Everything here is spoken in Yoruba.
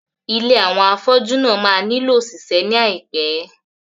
Ilé àwọn afọ́jú náà máa nílò òṣìṣẹ́ ní àìpé.